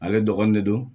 Ale dɔgɔnin de don